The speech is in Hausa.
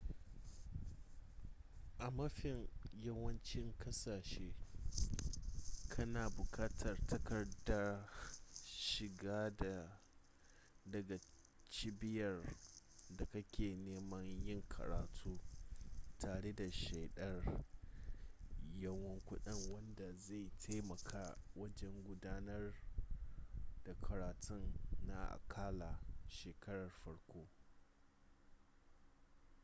a mafin yawancin kasashe kana bukatar takardar shiga daga cibiyar da kake neman yin karatu tare da shaidar yawan kudi wanda zai taimaka wajen gudanar da karatun na akalla shekarar farko